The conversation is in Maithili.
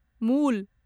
मूल